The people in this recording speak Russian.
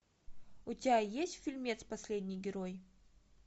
у тебя есть фильмец последний герой